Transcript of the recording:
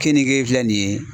Keninge filɛ nin ye.